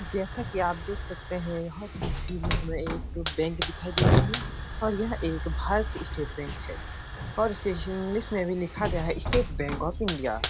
जैसा कि आप देख सकते हैं। यह तस्वीर में हमें एक बैंक दिखाई दे रही है और यह एक भारतीय स्टेट बैंक है और स्पेशल इंग्लिश में भी लिखा गया है स्टेट बैंक ऑफ इंडिया ।